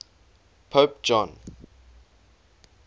pope john